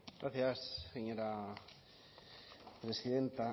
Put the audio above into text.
gracias señora presidenta